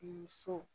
I dusu